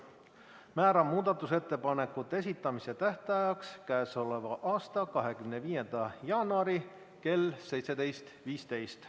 Määran muudatusettepanekute esitamise tähtajaks k.a 25. jaanuari kell 17.15.